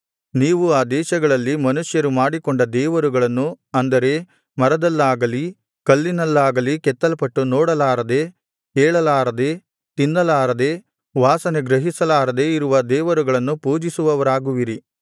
ನೀವು ಆ ದೇಶಗಳಲ್ಲಿ ಮನುಷ್ಯರು ಮಾಡಿಕೊಂಡ ದೇವರುಗಳನ್ನು ಅಂದರೆ ಮರದಲ್ಲಾಗಲಿ ಕಲ್ಲಿನಲ್ಲಾಗಲಿ ಕೆತ್ತಲ್ಪಟ್ಟು ನೋಡಲಾರದೆ ಕೇಳಲಾರದೆ ತಿನ್ನಲಾರದೆ ವಾಸನೆ ಗ್ರಹಿಸಲಾರದೆ ಇರುವ ದೇವರುಗಳನ್ನು ಪೂಜಿಸುವವರಾಗುವಿರಿ